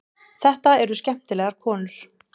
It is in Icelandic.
Þetta eru skemmtilegar konur.